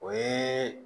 O ye